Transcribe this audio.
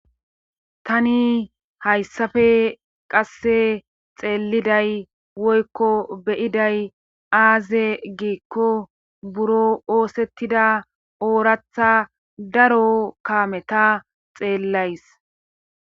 Tani hayssafe qasse xeelliday woykko beyiday aaze giikko buro oosettida ooraththa daro kameta xeellays